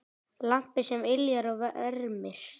Lampi sem yljar og vermir.